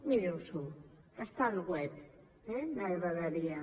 miri s’ho que està al web eh m’agradaria